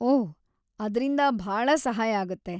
ಓಹ್‌, ಅದ್ರಿಂದ ಭಾಳ ಸಹಾಯ ಆಗತ್ತೆ.